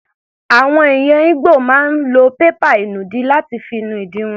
Àwọn ẹ̀yà Igbo máa ń lo pépà ìnùdí láti fi nu ìdí wọn.